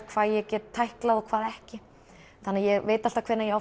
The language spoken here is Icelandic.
hvað ég get tæklað og hvað ekki þannig ég veit alltaf hvenær ég